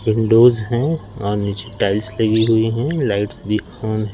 Windows है और नीचे टाइल्स लगी हुई है लाइट्स भी ऑन है।